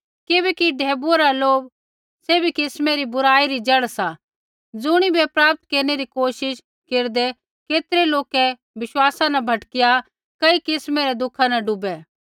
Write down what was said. किबैकि ढैबुऐ रा लोभ सैभी किस्मै री बुराई री जड़ सा ज़ुणिबै प्राप्त केरनै री कोशिश केरदै केतरै लोकै विश्वसा न भटकिया कई किस्मै रै दुखा न डूबै